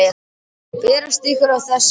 Berast ykkur. og þess háttar?